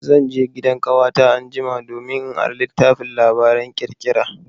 Zan je gidan ƙawata anjima domin in ara littafin labaran ƙirƙira.